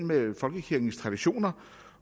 mellem folkekirkens traditioner